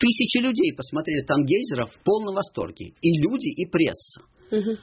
тысячи людей посмотрели там гейзеров в полном восторге и люди и пресса